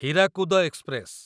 Hirakud express